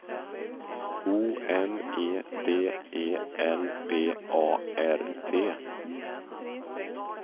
O M E D E L B A R T